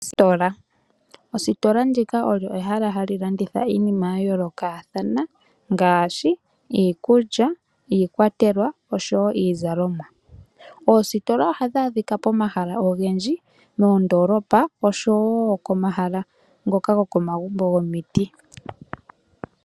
Ositola, Ositola ndika olyo pehala ndyoka hali landitha iinima ya yoolokathana ngaashi iikulya, iikwatelwa oshowo iizalomwa. Oositola ohadhi adhikwa pomahala ogendji moondoolopa oshowo komahala ngoka gokomagumbo gomiti.